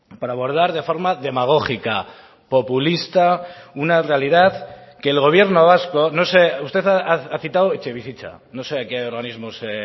para abordar de forma demagógica populista una realidad que el gobierno vasco no sé usted ha citado etxebizitza no sé a qué organismo se